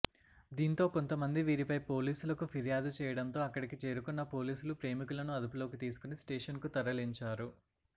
దీంతో కొంతమంది వీరిపై పోలీసులకు ఫిర్యాదు చేయడంతో అక్కడికి చేరుకున్న పోలీసులు ప్రేమికులను అదుపులోకి తీసుకొని స్టేషన్ కు తరలించారు